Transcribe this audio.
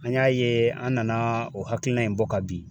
An y'a ye an nana o hakilina in bɔ ka bin.